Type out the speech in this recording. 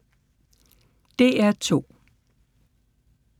DR2